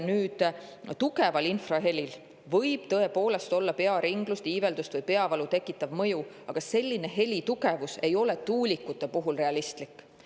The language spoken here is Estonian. Tugeval infrahelil võib tõepoolest olla pearinglust, iiveldust või peavalu tekitav mõju, aga selline helitugevus ei ole tuulikute puhul realistlik.